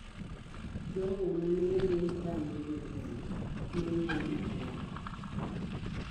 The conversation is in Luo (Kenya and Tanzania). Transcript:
Jogo ma ne dhi rango jogweng' noyier mokwongo.